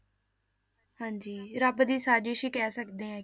ਹਾਂਜੀ ਰੱਬ ਦੀ ਸਜਿਸ਼ ਹੀ ਕਹਿ ਸਕਦੇ ਹਾਂ